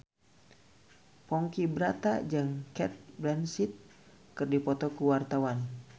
Ponky Brata jeung Cate Blanchett keur dipoto ku wartawan